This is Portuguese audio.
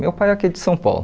Meu pai é aqui de São Paulo.